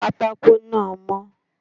Pátákó náà mó